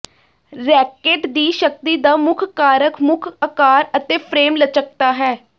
racket ਦੀ ਸ਼ਕਤੀ ਦਾ ਮੁੱਖ ਕਾਰਕ ਮੁੱਖ ਅਕਾਰ ਅਤੇ ਫ੍ਰੇਮ ਲਚਕਤਾ ਹੈ